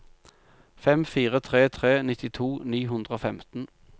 fem fire tre tre nittito ni hundre og femten